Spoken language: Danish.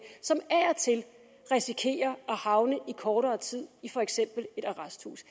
som af og til risikerer at havne i kortere tid i for eksempel et arresthus